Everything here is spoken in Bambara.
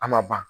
A ma ban